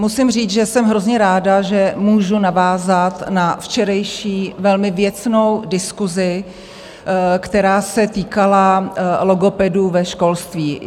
Musím říct, že jsem hrozně ráda, že můžu navázat na včerejší velmi věcnou diskusi, která se týkala logopedů ve školství.